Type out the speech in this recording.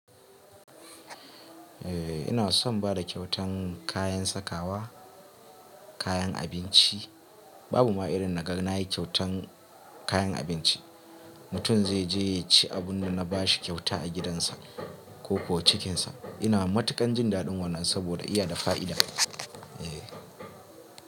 Eh, ina son bada kyautan kayan sakawa, kayan abinci. Babu ma irin na gani nayi kyautan kayan abinci. Mutum zai je ya ci abunda na bashi kyauta a gidansa ko kuwa cikinsa. Ina matuƙan jin daɗin wannan saboda iya da fa'ida. Eh.